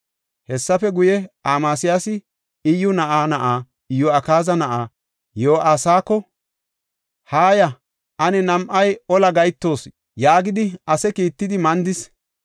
Hessafe guye, Amasiyaasi Iyyu na7aa na7aa, Iyo7akaaza na7aa, Yo7aasako, “Haaya; ane nam7ay ola gahetoos” yaagidi ase kiittidi mandis.